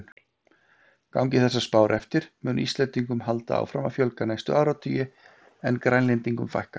Gangi þessar spár eftir mun Íslendingum halda áfram að fjölga næstu áratugi en Grænlendingum fækka.